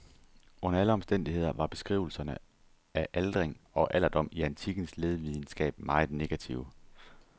Under alle omstændigheder var beskrivelserne af aldring og alderdom i antikkens lægevidenskab meget negative.